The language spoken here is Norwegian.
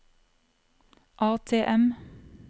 ATM